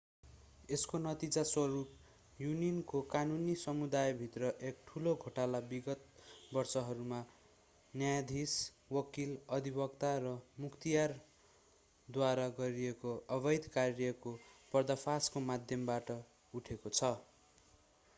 यसको नतिजा स्वरूप युनानको कानुनी समुदायभित्र एक ठूलो घोटाला विगत वर्षहरूमा न्यायाधीश वकिल अधिवक्ता र मुख्तियारद्वारा गरेको अवैध कार्यको पर्दाफासको माध्यमबाट उठेको छ